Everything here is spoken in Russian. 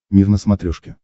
мир на смотрешке